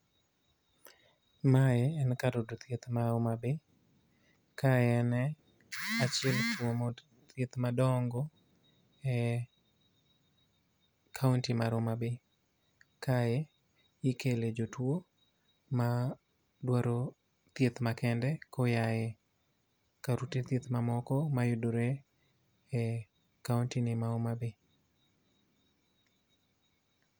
Mae en kar yudo thieth mar Homabay. Ka en achiel kuom od thieth madongo e kaunti mar Homabay. Kae ikele jotwo, ma dwaro thieth makende koyae kar ute thieth ma moko mayudore e kaunti ni mar Homabay.